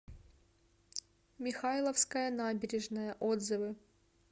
михайловская набережная отзывы